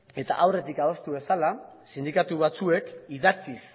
eta aurretik adostu bezala sindikatu batzuek idatziz